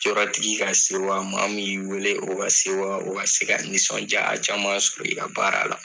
Yɔrɔtigi ka sewa maa min y'i wele o ka sewa , o ka se ka nisɔndiya caman sɔrɔ i ka baara la.